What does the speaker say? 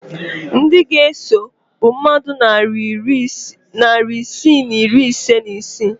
Ndị ga-eso bụ mmadụ narị isii na iri ise na isii